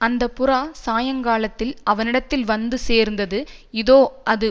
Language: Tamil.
அந்த புறா சாயங்காலத்தில் அவனிடத்தில் வந்து சேர்ந்தது இதோ அது